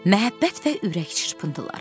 Məhəbbət və ürək çırpıntıları.